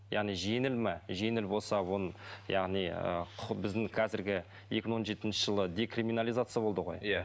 яғни жеңіл ме жеңіл болса оның яғни ы құқы біздің қазіргі екі мың он жетіншы жылы декриминализация болды ғой иә